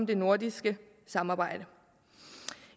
det nordiske samarbejde